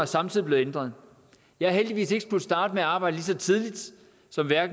samtidig blevet ændret jeg har heldigvis ikke skullet starte med at arbejde lige så tidligt som